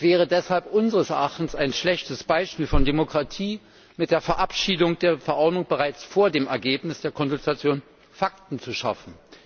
Es wäre deshalb unseres Erachtens ein schlechtes Beispiel von Demokratie, mit der Verabschiedung der Verordnung bereits vor dem Ergebnis der Konsultation Fakten zu schaffen.